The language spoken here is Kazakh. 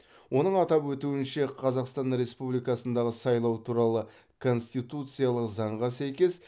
оның атап өтуінше қазақстан республикасындағы сайлау туралы конституциялық заңға сәйкес